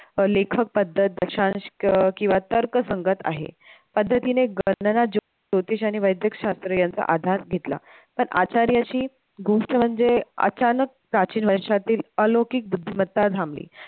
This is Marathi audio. लेखक पद्धत दशांश किंवा तर्कसंगत आहे, पद्धतीने ज्योतिष आणि वैदिकशास्त्र यांचा आधार घेतला पण आश्चर्याची गोष्ट म्हणजे अचानक प्राचीन वर्षातील अलौकिकता थांंबली